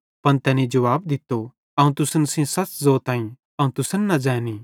पन तैनी जुवाब दित्तो अवं तुसन सेइं सच़ ज़ोताईं अवं तुसन न ज़ैंनी